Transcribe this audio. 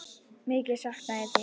Mikið sakna ég þín.